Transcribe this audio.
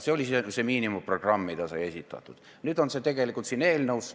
See oli miinimumprogramm, mis sai esitatud, ja nüüd on see tegelikult siin eelnõus.